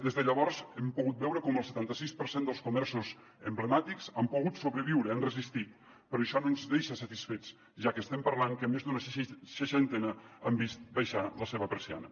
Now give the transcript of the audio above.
des de llavors hem pogut veure com el setanta sis per cent dels comerços emblemàtics han pogut sobreviure han resistit però això no ens deixa satisfets ja que estem parlant que més d’una seixantena han vist abaixar la seva persiana